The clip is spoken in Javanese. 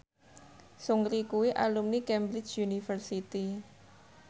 Seungri kuwi alumni Cambridge University